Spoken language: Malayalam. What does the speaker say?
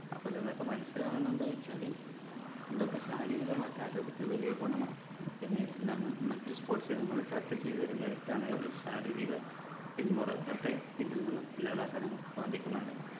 അപ്പൊ ഇതിൽ നിന്നൊക്കെ മനസ്സിലാകുന്നത് എന്താ വെച്ചാല് ഇതൊക്കെ ശാരീരികമായിട്ട് ആരോഗ്യത്തിന് വലിയ ഗുണമാണ് പിന്നെ നം മറ്റു sports ഇനങ്ങൾ ചർച്ച ചെയ്ത ഒരു merit ആണ് ശാരീരിക പിൻമുറുക്കത്തെ ഇതിൽനിന്നും ഇല്ലാതാക്കാൻ നമുക്ക് സാധിക്കുന്നുണ്ട്